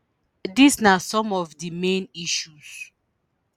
dis na some of di main issues